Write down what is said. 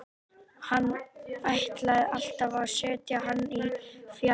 Hann ætlaði alltaf að setja hann í fjær.